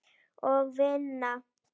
Og vinna.